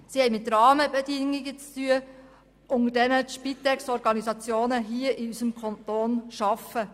Sie haben mit Rahmenbedingungen zu tun, unter welchen die Spitexorganisationen hier in unserem Kanton arbeiten.